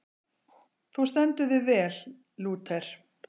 Þú stendur þig vel, Lúter!